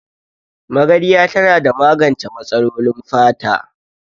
Magarya tana da magance matsalolin fata